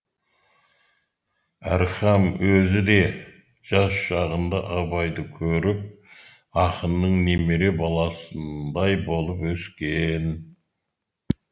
әрхам өзі де жас шағында абайды көріп ақынның немере баласындай болып өскен